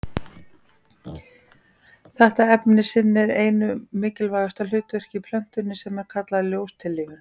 Þetta efni sinnir einu mikilvægasta hlutverkinu í plöntunni sem er kallað ljóstillífun.